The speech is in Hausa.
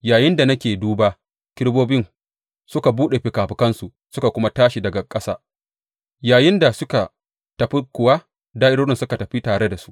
Yayinda nake duba, kerubobin suka buɗe fikafikansu suka kuma tashi daga ƙasa, yayinda suka tafi kuwa, da’irorin suka tafi tare da su.